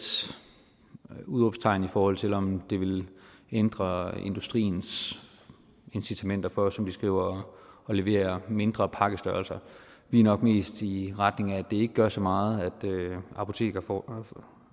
udråbstegn i forhold til om det vil ændre industriens incitamenter for som man skriver at levere mindre pakkestørrelser vi er nok mest i retning af at det ikke gør så meget at apotekerforeningen